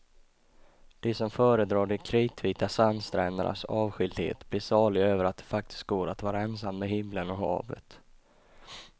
De som föredrar de kritvita sandsträndernas avskildhet blir saliga över att det faktiskt går att vara ensam med himlen och havet.